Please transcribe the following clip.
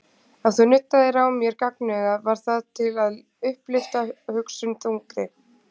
Ef þú nuddaðir á mér gagnaugað var það til að upplyfta hugsun þungri.